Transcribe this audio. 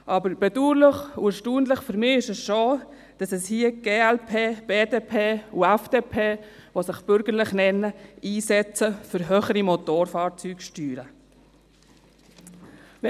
Aber bedauerlich und erstaunlich ist für mich schon, dass die glp, BDP und FDP, die sich bürgerlich nennen, sich hier für höhere Motorfahrzeugsteuern einsetzen.